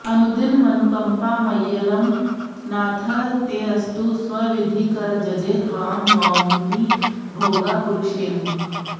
अनुदिनमनुकम्पा मय्यलं नाथ तेऽस्तु स्वविधिकरजजे त्वां नौमि भोगापुरेशम्